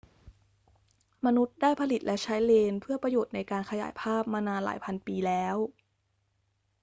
มนุษย์ได้ผลิตและใช้เลนส์เพื่อประโยชน์ในการขยายภาพมานานหลายพันปีแล้ว